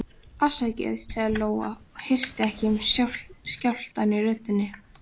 Afsakið, sagði Lóa og hirti ekki um skjálftann í röddinni.